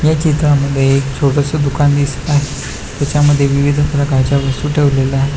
ह्या चित्रामध्ये एक छोटस दुकान दिसत आहे तेच्या मध्ये विविध प्रकारच्या वस्तु ठेवलेल्या आहे.